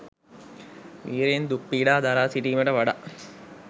විර්යයෙන් දුක් පීඩා දරා සිටීමට වඩා